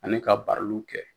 Ani ka bariluw kɛ.